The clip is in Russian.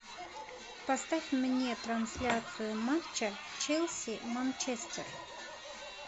поставь мне трансляцию матча челси манчестер